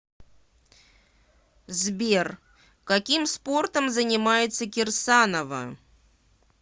сбер каким спортом занимается кирсанова